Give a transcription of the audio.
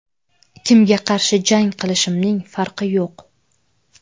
Kimga qarshi jang qilishimning farqi yo‘q.